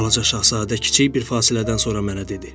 Balaca şahzadə kiçik bir fasilədən sonra mənə dedi: